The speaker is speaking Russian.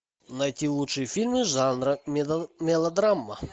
найти лучшие фильмы жанра мелодрама